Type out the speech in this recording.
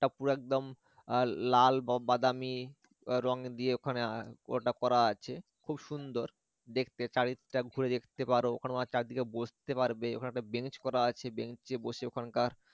পুরো একদম আহ লাল বা বাদামি রং দিয়ে ওখানে আহ ওটা করা আছে খুব সুন্দর দেখতে চারিদিকটা ঘুরে দেখতে পার ওখানে চারদিকে বসতে পারবে ওখানে একটা bench করা আছে bench এ বসে ওখানকার